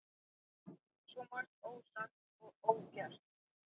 Svo margt ósagt og ógert.